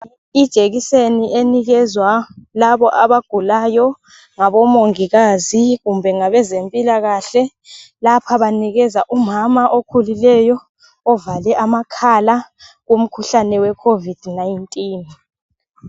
Ijekiseni enikezwa labo abagulayo ngabomongikazi kumbe ngabezempilakahle lapha banikeza umama okhulileyo ovale amakhala kumkhuhlane weCovid-19.